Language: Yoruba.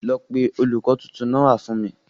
Lọ pé olùkó tuntun náà wá fún mi.